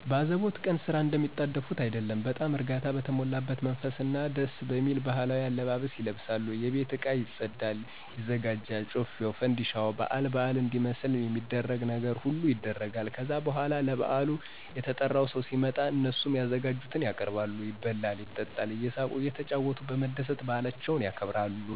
በአዘቦት ቀን ስራ እንደሚጣደፉት አይደለም በጣም እርጋታ በተሞላበት መንፈስ እና ደስየሚል ባህላዊ አለባበስ ይለብሳሉ የቤት እቃ ቤት ይፀዳል/ይዘጋጃል ጮፌው ፋንድሻው ባአል ባአል እንዲመስል ሚደረግ ነገር ሁሉ ይደረጋል። ከዛ በኋላ ለብአሉ የተጠራው ሰው ሲመጣ እነሱም ያዘጋጁትን ያቀርባሉ ይበላል ይጠጣል እየሳቁ እየተጫወቱ በመደሰት ባአላቸውን ያከብራሉ።